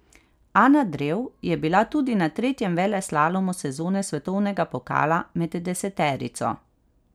Ana Drev je bila tudi na tretjem veleslalomu sezone svetovnega pokala med deseterico.